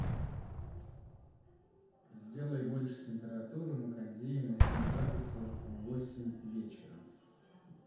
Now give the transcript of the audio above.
сделай больше температуру на кондее на семь градусов в восемь вечера